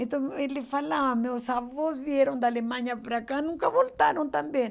Então ele falava, meus avós vieram da Alemanha para cá, nunca voltaram também.